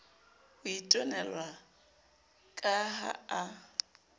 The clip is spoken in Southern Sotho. ho itwanela ka ha a